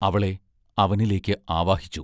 അവളെ അവനിലേക്ക് ആവാഹിച്ചു.